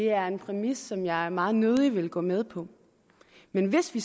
er en præmis som jeg meget nødig vil gå med på men hvis vi